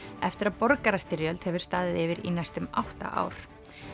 eftir að borgarastyrjöld hefur staðið yfir í næstum átta ár